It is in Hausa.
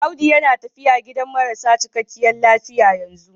Audu yana tafiya gidan marasa cikakkiyar lafiya yanzu.